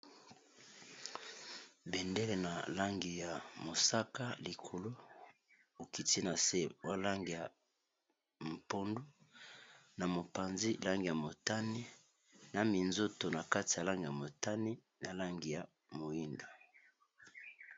bendele na langi ya mosaka likolo okiti na se ba langi ya pondu na mopanzi langi ya motani na minzoto na kati ya langi ya motani na langi ya moindo